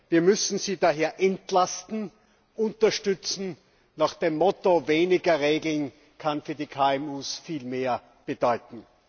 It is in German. Wir müssen sie deshalb entlasten und unterstützen nach dem Motto Weniger Regeln kann für die KMU viel mehr bedeuten.